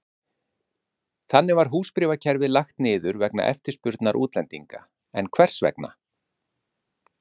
Þannig var húsbréfakerfið lagt niður vegna eftirspurnar útlendinga, en hvers vegna?